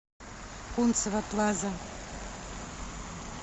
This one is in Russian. кунцево плаза